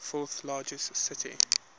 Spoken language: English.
fourth largest city